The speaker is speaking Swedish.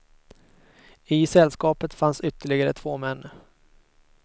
I sällskapet fanns ytterligare två män.